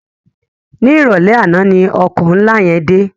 Ni iròlè àná ni òkò nlá yèn dé